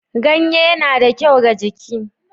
Ganye na da kyau ga jiki.